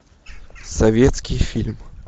советский фильм